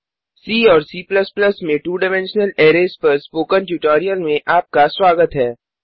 सी और C में 2डाइमेंशनल अरैज़ पर स्पोकन ट्योटोरियल में आपका स्वागत है